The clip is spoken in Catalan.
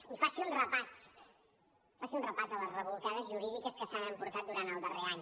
i faci un repàs faci un repàs a les rebolcades jurídiques que s’han emportat durant el darrer any